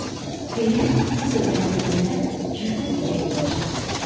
Xeyir, bu sözləri deyəndə Kürdün ürəyi yumşaldı.